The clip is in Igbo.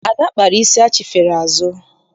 Ada kpara isi achifere azụ.